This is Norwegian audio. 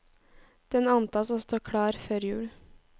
Den antas å stå klar før jul.